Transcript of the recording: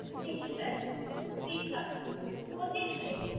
Fish Cutlet পচিশ Plate ।